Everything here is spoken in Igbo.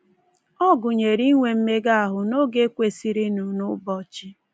Ọ gụnyere inwe mmega ahụ n’oge kwesịrịnụ n’ụbọchị.